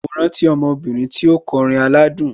Mo rántí ọmọ obìnrin tí ó kọrin aládùn.